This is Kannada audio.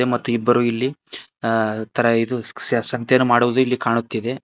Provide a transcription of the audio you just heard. ಮತ್ತು ಇಬ್ಬರು ಇಲ್ಲಿ ಅ ತರ ಸ್ಯ ಸಂತೆಯನ್ನು ಮಾಡುವುದು ಇಲ್ಲಿ ಕಾಣುತ್ತಿದೆ.